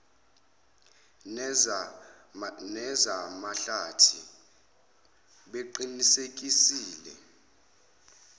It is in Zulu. neza mahlathi beqinisekisile